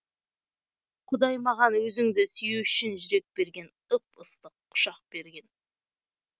құдай маған өзіңді сүю үшін жүрек берген ып ыстық құшақ берген